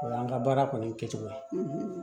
O y'an ka baara kɔni kɛcogo ye